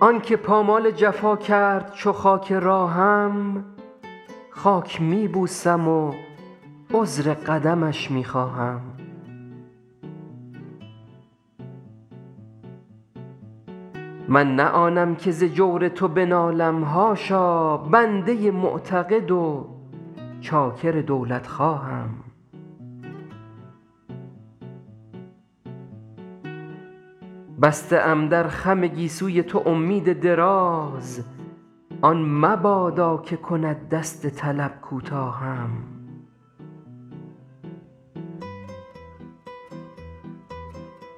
آن که پامال جفا کرد چو خاک راهم خاک می بوسم و عذر قدمش می خواهم من نه آنم که ز جور تو بنالم حاشا بنده معتقد و چاکر دولتخواهم بسته ام در خم گیسوی تو امید دراز آن مبادا که کند دست طلب کوتاهم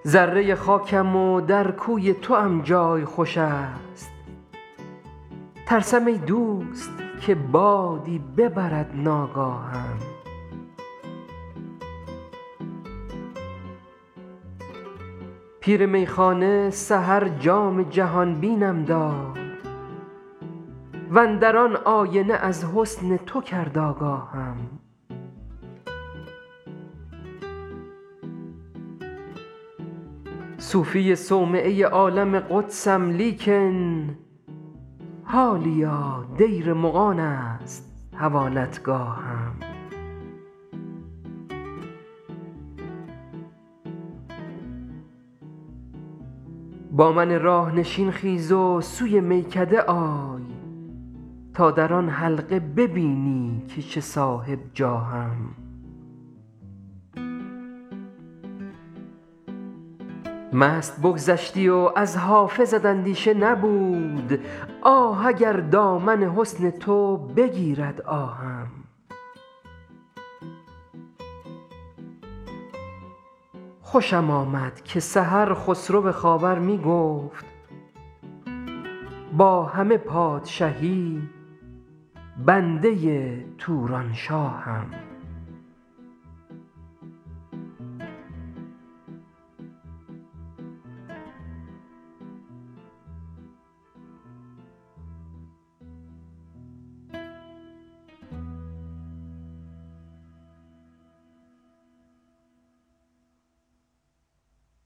ذره خاکم و در کوی توام جای خوش است ترسم ای دوست که بادی ببرد ناگاهم پیر میخانه سحر جام جهان بینم داد و اندر آن آینه از حسن تو کرد آگاهم صوفی صومعه عالم قدسم لیکن حالیا دیر مغان است حوالتگاهم با من راه نشین خیز و سوی میکده آی تا در آن حلقه ببینی که چه صاحب جاهم مست بگذشتی و از حافظت اندیشه نبود آه اگر دامن حسن تو بگیرد آهم خوشم آمد که سحر خسرو خاور می گفت با همه پادشهی بنده تورانشاهم